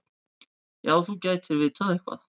Já, þú gætir vitað eitthvað.